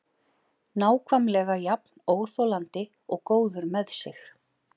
Nákvæmlega jafn óþolandi og góður með sig.